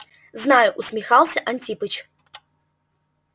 знаю усмехался антипыч